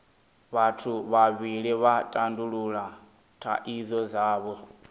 vhathu vhavhili vha tandulula thaidzo dzavho